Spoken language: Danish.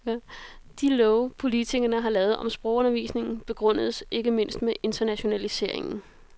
De love, politikerne har lavet om sprogundervisningen, begrundes ikke mindst med internationaliseringen.